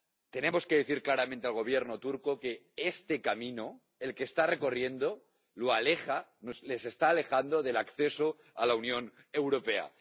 Tenemos que decir claramente al Gobierno turco que este camino, el que está recorriendo, les está alejando del acceso a la Unión Europea.